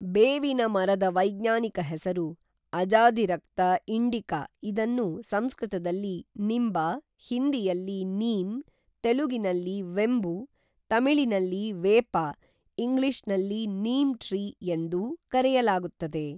ಬೇವಿನ ಮರದ ವೈಜ್ಞಾನಿಕ ಹೆಸರು ಅಜಾದಿರಕ್ತ ಇಂಡಿಕ ಇದನ್ನು ಸಂಸ್ಕೃತದಲ್ಲಿ ನಿಂಬ ಹಿಂದಿಯಲ್ಲಿ ನೀಮ್ ತೆಲುಗಿನಲ್ಲಿ ವೆಂಬು ತೆಮಿಳಿನಲ್ಲಿ ವೇಪ ಇಂಗ್ಲೀಷ್ ನಲ್ಲಿ ನೀಮ್ ಟ್ರೀ ಎಂದು ಕರೆಯಲಾಗುತ್ತದೆ